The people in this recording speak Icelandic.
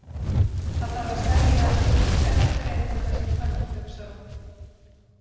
Það þarf að selja Íslenskri erfðagreiningu þessa tölvu, hugsar hún.